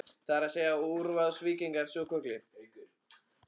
Það er að segja, útrásarvíkingarnir svokölluðu?